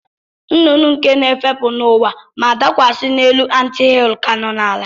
Nnụnụ nke na-efepụ n'ụwa ma dakwasị n'elu anthill ka nọ n'ala.